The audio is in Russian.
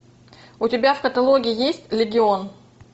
у тебя в каталоге есть легион